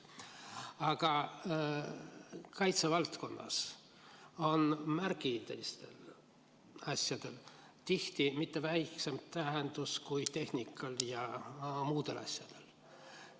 Aga kaitsevaldkonnas on märgilistel asjadel tihti mitte väiksem tähendus kui tehnikal ja muudel asjadel.